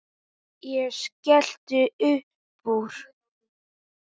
Ég skellti uppúr.